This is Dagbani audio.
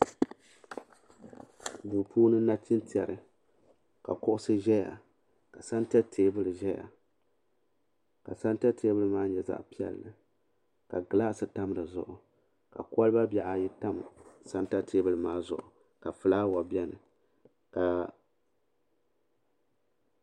Duu puuni nachintɛri ka kuɣusi ʒeyaka santa teebuli zaya ka santa teebuli maa nye zaɣa piɛlli ka gilaasi tam di zuɣu ka koliba bihi ayi tam santa teebuli maa zuɣu ka filaawa biɛni.